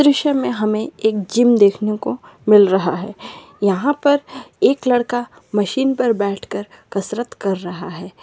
इस दृश्य में हमें एक जिम देखने को मिल रहा है। यहाँ पर एक लड़का मशीन पर बैठ कर कसरत कर रहा है।